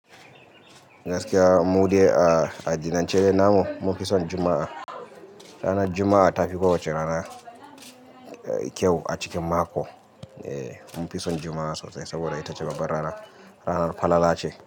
Gaskiya mu dai a-a- adinance dai namu, mun fi son Juma'a. Ranar Juma'a ta fi kowace rana, eh, kyau a cikin mako. Eh, mun fi son Juma'a sosai saboda ita ce baba rana, ka kau ga falala ce.